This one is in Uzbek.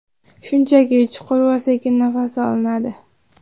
Shunchaki chuqur va sekin nafas olinadi.